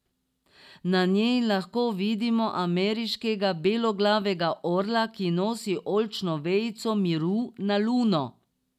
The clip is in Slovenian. Na njej lahko vidimo ameriškega beloglavega orla, ki nosi oljčno vejico miru na Luno.